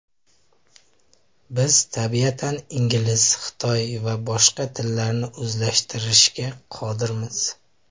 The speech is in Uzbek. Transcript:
Biz tabiatan ingliz, xitoy va bosh tillarni o‘zlashtirishga qodirmiz.